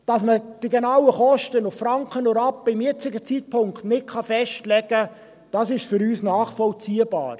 Dass man zum jetzigen Zeitpunkt die Kosten nicht auf Franken und Rappen genau festlegen kann, ist für uns nachvollziehbar.